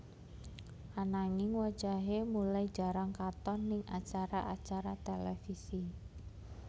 Ananging wajahé mulai jarang katon ning acara acara televisi